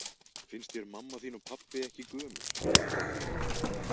Finnst þér mamma þín og pabbi ekki gömul?